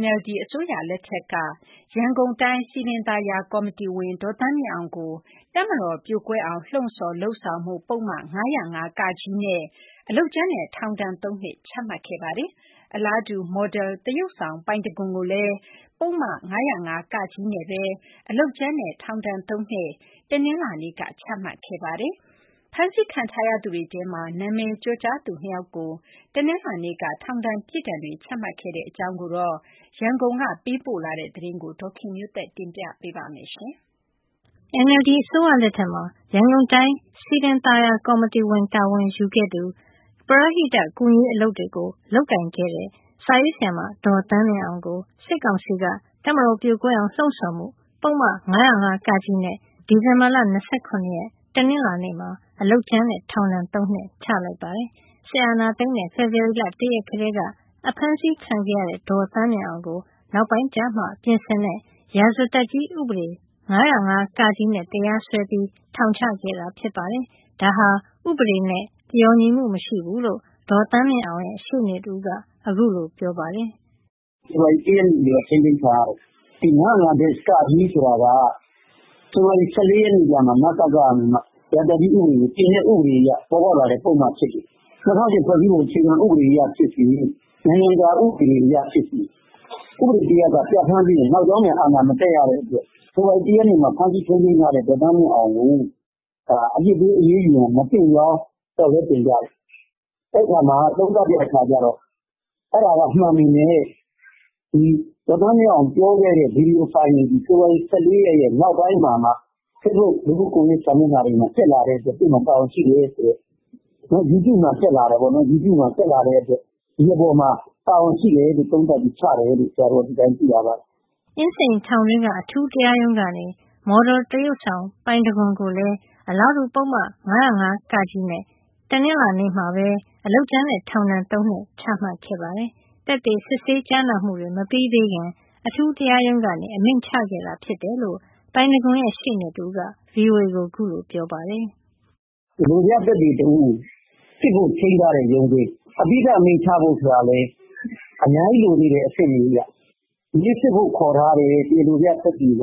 NLD အစိုးရလက်ထက်က ရန်ကုန်တိုင်း စည်ပင်သာယာကော်မတီဝင် ဒေါ်သန်းမြင့်အောင်ကို တပ်မတော်ပြိုကွဲအောင် လှုံ့ဆောင် လုပ်ဆောင်မှု ပုဒ်မ ၅၀၅-က နဲ့ အလုပ်ကြမ်းနဲ့ ထောင်ဒဏ် ၃ နှစ်ချလိုက်ပါတယ်။ အလားတူ မော်ဒလ်သရုပ်ဆောင် ပိုင်တံခွန်ကိုလည်း ပုဒ်မ ၅၀၅-က နဲ့ပဲ အလုပ်ကြမ်းနဲ့ ထောင်ဒဏ် ၃ နှစ် ဒီနေ့ချပါတယ်။ ဖမ်းဆီးခံထားရသူတွေထဲမှာ နာမည်ကျော်ကြားသူ ၂ ယောက်ကို ဒီနေ့ ထောင်ဒဏ် ပြစ်ဒဏ်တွေ ချခဲ့တဲ့အကြောင်း ရန်ကုန်ကလာတဲ့သတင်းကို ဒေါ်ခင်မျိုးသက်က တင်ပြပါမယ်။ NLD အစိုးရလက်ထက်မှာ ရန်ကုန်တိုင်း စည်ပင်သာယာကော်မတီဝင် တာဝန်ကို ယူခဲ့သူ ပရဟိတကူညီရေးအလုပ်တွေ လုပ်ကိုင် တဲ့ စာရေးဆရာမ ဒေါ်သန်းမြင့်အောင်ကို စစ်ကောင်စီက တပ်မတော်ပြိုကွဲအောင် လှုံ့ဆောင် လုပ်ဆောင်မှု ပုဒ်မ ၅၀၅-က နဲ့ ဒီဇင်ဘာ ၂၇ ရက် တနင်္လာနေ့မှာ အလုပ်ကြမ်းနဲ့ ထောင်ဒဏ် ၃ နှစ်ချလိုက်ပါတယ်။ စစ်အာဏာသိမ်းတဲ့ ဖေဖော်ဝါရီလ ၁ ရက်ထဲက ဖမ်းဆီးခံရတဲ့ ဒေါ်သန်းမြင့်အောင်ကို နောက်ပိုင်းကျမှ ပြင်ဆင်တဲ့ ရာဇသတ်ကြီး ဥပဒေ ၅၀၅-က နဲ့ တရားစွဲပြီး ထောင်ချခဲ့တာဖြစ်ပါတယ်။ ဒါဟာ ဥပဒေနဲ့ လျော်ညီမှု မရှိဘူးလို့ ဒေါ်သန်းမြင့်အောင်ရဲ့ ရှေ့နေတဦးက ခုလိုပြောပြပါတယ်။ ဖဖော်ဝါရီ ၁ရက်နေ့ထဲကထိန်းသိမ်းခံရတယ်။ ၅၀၅-က ဆိုတာက ဖေဖော်ဝါရီ ၁၄ ရက်မှ နစကက နေပြီးတော့မှ ရာဇသတ်ကြီးဥပဒေကို ပြင်တာမှပေါ်ပေါက်လာတာဖြစ်တယ်။ ၂၀၀၈ ဖွဲ့ စည်း ပုံအခြေခံအရဖြစ်စေ။ နိုင်ငံတကာဥပဒေအရဖြစ်စေ ဥပဒေတရပ်က ပြဌာန်းပြီးရင်နောက်ကြောင်း ပြန် အာဏာ မသက်ရတဲ့အတွက် ဖေဖော်ဝါရီ ၁ရက်နေ့ကဖမ်းခံထားရတဲ့ ဒေါ်သန်းမြင့်အောင်ကို အရေးယူ ဖို့ မသင့်ကြောင်းလျှောက်လဲတင်ပြတယ်။ သုံးသပ်တဲ့အခါကျတော့ အဲဒါမှန်ပေမယ့် ဒေါ်သန်းမြင့် အောင် ပြောခဲ့တဲ့ ဗွီဒီယိုဖိုင်တွေသည် ဖေဖော်ဝါရီ ၁၄ ရက်နောက်ပိုင်းမှ Facebook လူမှုကွန်ယက်တွေ ပေါ်မှာတက်လာလို့တာဝန်ရှိတယ်ဆိုပြီး YouTube မှာတက်လာလို့ တာဝန်ရှိတယ်ဆိုပြီး ဒီအပေါ်မှာ ဒီ တိုင်းချတာဖြစ်တယ်လို့ သိရပါတယ်။ အင်းစိန်ထောင်တွင်းက အထူးတရားရုံးကနေ မော်ဒလ်သရုပ်ဆောင် ပိုင်တံခွန်ကိုလည်း အလားတူ ပုဒ်မ ၅၀၅-က နဲ့ တနင်္လာနေ့မှာပဲ အလုပ်ကြမ်းနဲ့ ထောင်ဒဏ် ၃ နှစ်ချခဲ့ပါတယ်။ သက်သေစစ်ဆေးကြားနာမှုတွေ မပြီးသေးခင် အထူးတရားရုံးက အမိန့်ချခဲ့တာဖြစ်တယ်လို့ ပိုင်တံခွန်ရဲ့ ရှေ့နေတဦးက ဗွီအိုအေကို ခုလိုပြောပါတယ်။ လိုပြသက်သေတဦးကို စစ်ဖို့ချိန်းထားတဲ့ ရုံးချိန်း။ အပြီးသတ်အမိန့်ချဖို့ဆိုတာလည်း အများ ကြီးလိုနေသေးတဲ့ အဆင့်တွေ ဒီနေ့စစ်ဖို့ ခေါ်ထားတဲ့ တရားလိုပြသက်သေက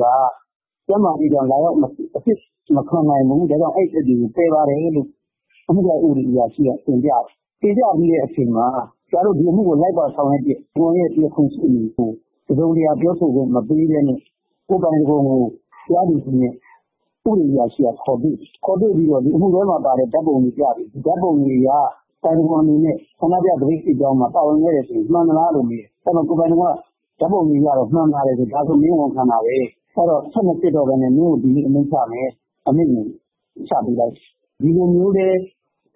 ကျန်းမာရေးကြောင့်လာ ရောက်အစစ်မခံနိုင်ဘူး ဒီအတွက်ပယ်တယ်လို့ အမှုလိုက်အရာရှိကတင်ပြတယ်။ တင်ပြပြီးချိန်မှာ ပိုင် တံခွန်ရှေ့နေကို တစုံတရာပြောခွင့်မပေးဘဲနဲ့ ပိုင်တံခွန်ကို တရားသူကြီးနဲ့ ဥပဒေအရာရှိကခေါ်တွေ့ တယ်။ နောက်အမှုတွဲမှာပါတဲ့ ဓါတ်ပုံတွေပြတယ်။ ဓါတ်ပုံတွေအရ ပိုင်တံခွန်အနေနဲ့ ဆန္ဒပြသပိတ်စစ် ကြောင်းမှာပါတာမှန်လားမေးတယ်။ ပိုင်တံခွန်က ဓါတ်ပုံအရမှန်တယ်ဖြေတယ် ဒါဆိုမင်းဝန်ခံတာဘဲ ထပ်မစစ်ဘဲ အမိန့်ချမယ်ဆိုပြီးအမိန့်ချပေးလိုက်တယ်။ ဒီလိုအတင်း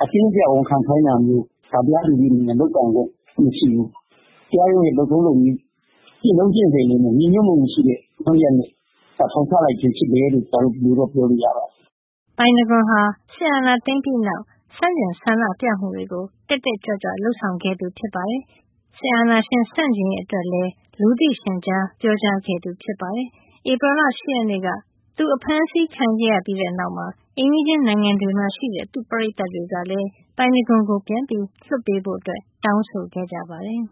အကျပ်ဝန်ခံခိုင်းတာမျိုး တရား သူကြီးအနေနဲ့ လုပ်ပိုင်ခွင့်မရှိဘူး။ တရားရုံးရဲ့လုပ်ထုံးလုပ်နည်းကျင့်ထုံးနဲ့ ညီညွှတ်မှုမရှိတဲ့ လုပ်ရပ်နဲ့ ထောင်ချတာဖြစ်တယ်လို့ ဒီလိုပြောရပါတယ်။ ပိုင်တံခွန်ဟာ စစ်အာဏာသိမ်းပြီးနောက် ဆန့်ကျင်ဆန္ဒပြမှုတွေကို တက်တက်ကြွကြွလုပ်ခဲ့သူဖြစ်သလို စစ်အာဏာရှင်ဆန့်ကျင်ရေးအတွက်လည်း လူသိရှင်ကြား ပြောကြားခဲ့သူဖြစ်ပါတယ်။ ဧပြီလ ၈ ရက်နေ့က သူဖမ်းဆီးခံခဲ့ရပြီးနောက် အိမ်နီးချင်းနိုင်ငံတွေမှာရှိတဲ့ သူ့ပရိတ်သတ်တွေကလည်း ပိုင်တံခွန်ကို ပြန်လွှတ်ပေးဖို့ တောင်းဆိုခဲ့ကြပါတယ်။